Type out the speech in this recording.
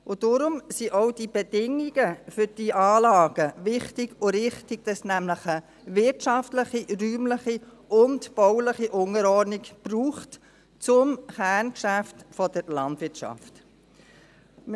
Daher sind auch die Bedingungen für diese Anlagen wichtig und richtig: nämlich, dass es eine wirtschaftliche, räumliche und bauliche Unterordnung zum Kerngeschäft der Landwirtschaft braucht.